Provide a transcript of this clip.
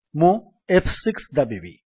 ମୁଁ ଏଫ୍6 ଦାବିବି